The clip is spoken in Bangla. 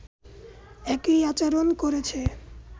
একই আচরণ করছে